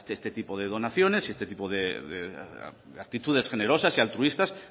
este tipo de donaciones y este tipo de actitudes generosas y altruistas